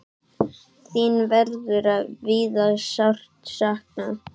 Þín verður víða sárt saknað.